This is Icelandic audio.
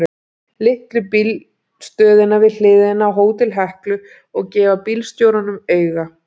Litlu bílstöðina við hliðina á Hótel Heklu og gefa bílstjórunum auga.